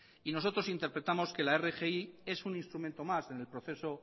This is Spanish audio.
y nosotros interpretamos que la rgi es un instrumento más en el proceso